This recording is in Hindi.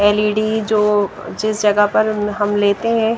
एल_ई_डी जो जिस जगह पर हम लेते हैं।